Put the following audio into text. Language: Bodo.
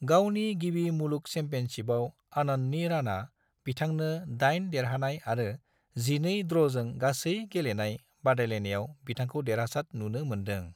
गावनि गिबि मुलुग चैंपियनशिपआव आनंदनि राना बिथांनो दाइन देरहानाय आरो 12 ड्रॉजों गासै गेलेनाय बादायनायाव बिथांखौ देरहासाद नुनो मोनदों।